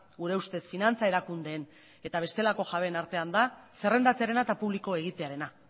gure ustez finantza erakundeen eta bestelako jabeen artean da zerrendatzearena eta publiko egitearena